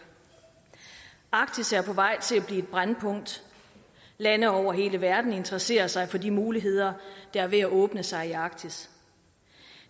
arktis er på vej til at et brændpunkt lande over hele verden interesserer sig for de muligheder der er ved at åbne sig i arktis